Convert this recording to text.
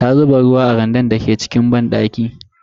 Ta zuba ruwa a randan da ke cikin banɗaki.